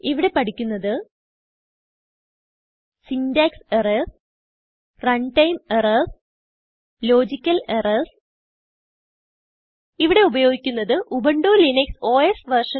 ഇവിടെ പഠിക്കുന്നത് syntax errors run time errors logical errors ഇവിടെ ഉപയോഗിക്കുന്നത് ഉബുന്റു ലിനക്സ് ഓസ് വെർഷൻ